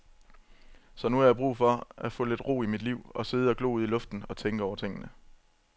Så nu har jeg brug for at få lidt ro i mit liv, sidde og glo ud i luften og tænke over tingene.